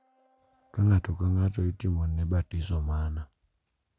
Ka ng’ato ka ng’ato itimone batiso mana,